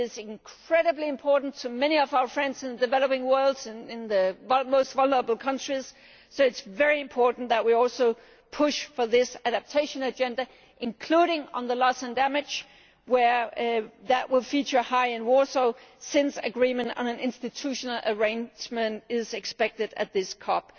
this is incredibly important to many of our friends in the developing world and in the most vulnerable countries, so it is very important that we also push for this adaptation agenda, including on loss and damage. That will feature prominently in Warsaw, since agreement on an institutional arrangement is expected at this COP.